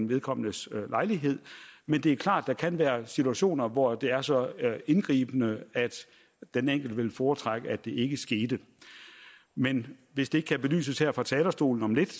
vedkommendes lejlighed men det er klart at der kan være situationer hvor det er så indgribende at den enkelte vil foretrække at det ikke skete men hvis det ikke kan belyses her fra talerstolen om lidt